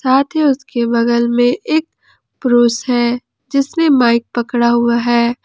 साथ ही उसके बगल में एक पुरुष है जिसने माइक पकड़ा हुआ है।